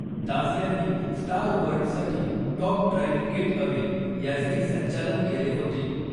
दास यांनी स्टार वर्ल्डसाठी top drive getaway याचेही संचालन केले होते.